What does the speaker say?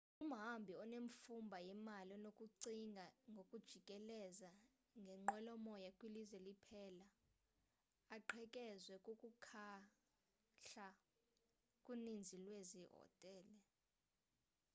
umhambi onemfumba yemali unokucinga ngokujikeleza ngenqwelomoya kwilizwe liphela aqhekezwe kukuhlala kuninzi lwezi hotele